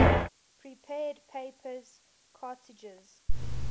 prepared paper cartridges